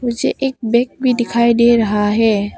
पीछे एक बैग भी दिखाई दे रहा है।